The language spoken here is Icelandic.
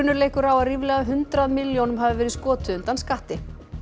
leikur á að ríflega hundrað milljónum hafi verið skotið undan skatti